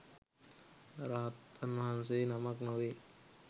රහතන් වහන්සේ නමක් නොවේ